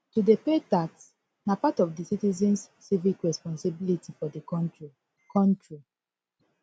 to dey pay tax na part of di citizens civic responsibility for di country country